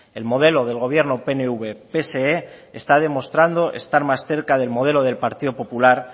el modelo del gobierno pnv pse está demostrando estar más cerca del modelo del partido popular